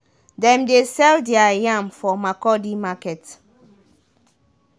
dem dey sell their yam for makurdi market.